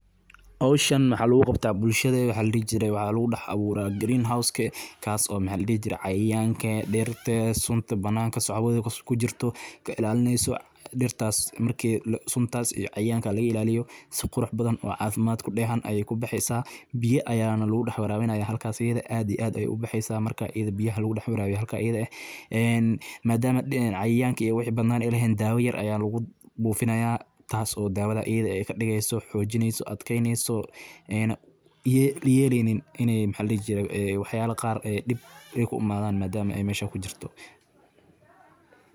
Reexaantu waa dhir yar oo udgoon leh, laguna beero meelaha cadceeddu si fiican u gaarto, waxaana koritaankeeda lagu guuleystaa marka la siiyo daryeel joogto ah sida waraabin habboon, ciid bacrin ah oo si fiican u daata biyaha, iyo jaritaan joogto ah si caleemaha cusub u koraan; marka abuurka reexaanta la beero, waxaa wanaagsan in lagu beero gudaha guri ama meel daboolan bilowga xilliga gu’ga, kadibna marka geedku xoog yeesho.